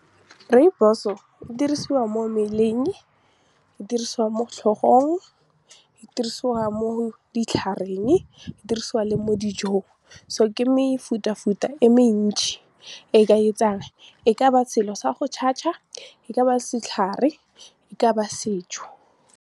Rooibos-o e dirisiwa mo mmeleng, e dirisiwa mo tlhogong, e dirisiwa mo ditlhareng, e dirisiwa le mo dijong so ke mefutafuta e mentši e ka etsang e ka ba selo sa go tshatsha, e ka ba setlhare, e ka ba sejo.